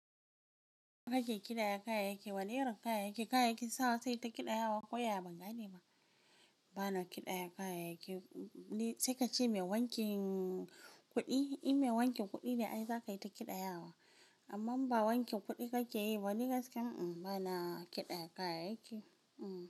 Kake ƙidaya kayayyaki wane irin kayayyaki? Kayayyakin sawa sai ta ƙidayawa ko ya bangane ba? Bana ƙidayar kayayyaki. Sai kace mai wanki kuɗi, in mai wankin kuɗi ne ai zakayi ta ƙidayawa. Amma in ba wankin kuɗi kake yi ba ni gaskiya bana ƙidayar kayayyaki.